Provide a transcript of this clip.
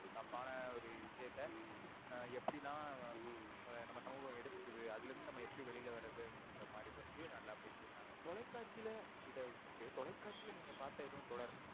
தப்பான ஒரு விஷயத்த ஹம் எப்டிலாம் ஹம் நம்ப சமுகம் எடுத்துகுது அதுலேந்து நம்ப எப்படி வெளில வரதுனுற அந்த மாறி வந்து நல்ல பேசி இருந்தாங்க. தொலைகாட்சில இத விட்டுட்டு தொலைகாட்சில நீங்க எதும் பாத்த தொடர்